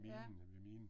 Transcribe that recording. Ja